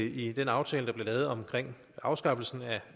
i den aftale der blev lavet om afskaffelsen